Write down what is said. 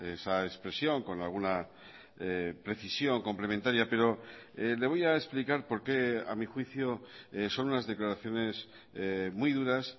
esa expresión con alguna precisión complementaria pero le voy a explicar por qué a mi juicio son unas declaraciones muy duras